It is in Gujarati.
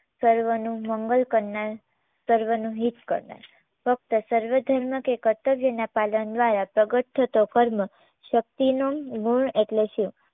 સર્વનું મંગલ કરનાર, સર્વનું હિત કરનાર ફક્ત સર્વધર્મ કે કર્તવ્યના પાલન દ્વારા પ્રગટ થતો કર્મ શક્તિનો ગુણ એટલે શિવ